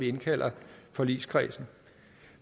indkalder forligskredsen